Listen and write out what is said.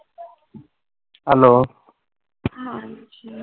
hello